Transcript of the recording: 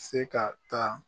Se ka taa